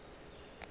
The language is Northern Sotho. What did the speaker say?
ka go la go ja